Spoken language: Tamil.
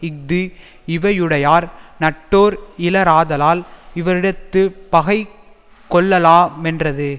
இஃது இவையுடையார் நட்டோர்இலராதலால் இவரிடத்துப் பகை கொள்ளலா மென்றது